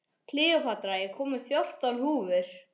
Kleópatra, ég kom með fjórtán húfur!